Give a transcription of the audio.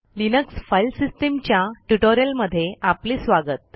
Linux file सिस्टीमच्या ट्युटोरियलमध्ये आपले स्वागत